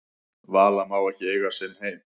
Vala má ekki eiga sinn heim